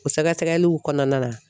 O sɛgɛsɛgɛliw kɔnɔna na